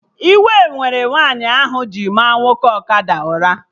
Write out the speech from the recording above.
Iwe mere nwaanyị ahụ maa nwoke ọkada ụra